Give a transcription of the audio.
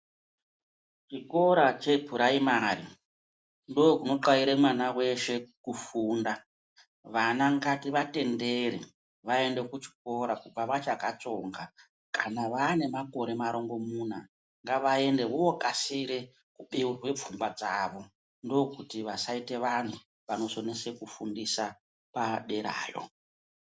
Chikora chepuraimari ndokunotxaire mwana veshe kufunda Vana ngativatendere vaende kuchikora kubva vachakatsonga Kana vane makore marongomuna ngavaende vokasire kubeurwe pfungwa dzavo. Ndokuti vasaite vantu vanokonese kufundisa paderayo.